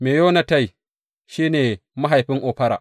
Meyonotai shi ne mahaifin Ofra.